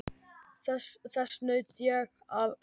Þess naut ég af hjarta.